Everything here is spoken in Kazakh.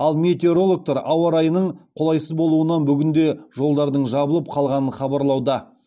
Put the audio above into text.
ал метеорологтар ауа райының қолайсыз болуынан бүгін де жолдардың жабылып қалғанын хабарлауда